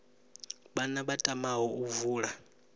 vhana vha tamaho u vula